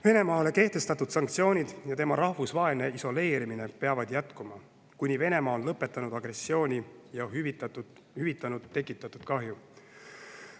Venemaale kehtestatud sanktsioonid ja tema rahvusvaheline isoleerimine peavad jätkuma, kuni Venemaa on lõpetanud agressiooni ja hüvitanud tekitatud kahju.